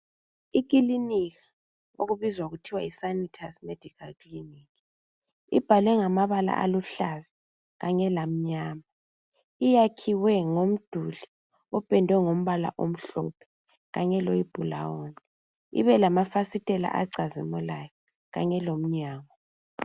Ikilinika okubizwa kuthiwa yiSANITUS MEDICAL CLINiC, lbhalwe ngamabala aluhlaza kanye lamnyama. Iyakhiwe ngomduli, opendwe ngombala omhlophe. Kanye loyibhulawuni. Ibe lamafasitela acazimulayo. Kanye lomnyango.